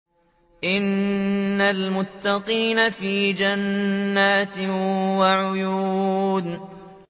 إِنَّ الْمُتَّقِينَ فِي جَنَّاتٍ وَعُيُونٍ